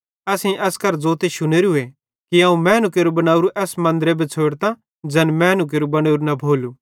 असेईं एस केरां एन ज़ोते शुनेरू कि अवं मैनू केरू बनोरू एस मन्दरे बिछ़ोड़तां ट्लेइ दिहाड़न मां होरू मन्दर बनालो ज़ैन मैनू केरू बनोरू न भोलू